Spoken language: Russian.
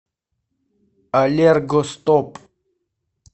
аллергостоп